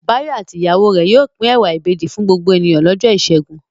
Báyọ̀ àti ìyàwó rẹ̀ yóò pín ẹ̀wà ìbejì fún gbogbo ènìyàn lọ́jọ́ ìṣẹ́gun.